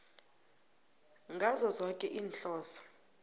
ngazo zoke iinhloso